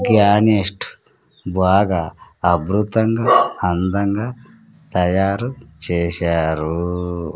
గ్యానిస్ట్ బాగా అబ్రుతంగా అందంగా తయారు చేశారు